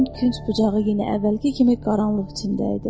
Barakın künc bucağı yenə əvvəlki kimi qaranlıq içində idi.